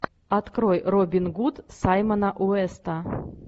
открой робин гуд саймона уэста